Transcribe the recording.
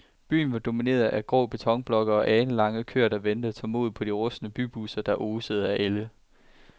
Byen var domineret af grå betonblokke og alenlange køer, der ventede tålmodigt på de rustne bybusser, der osede af ælde.